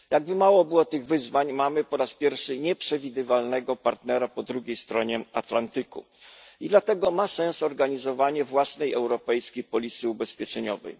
Jakby mało było tych wyzwań, po raz pierwszy mamy nieprzewidywalnego partnera po drugiej stronie Atlantyku, i dlatego ma sens organizowanie własnej europejskiej polisy ubezpieczeniowej.